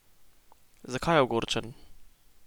Zakaj je ogorčen?